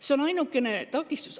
See on ainukene takistus.